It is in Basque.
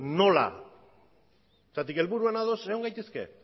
nola zergatik helburuan ados egon gaitezke